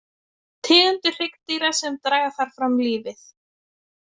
Tegundir hryggdýra sem draga þar fram lífið.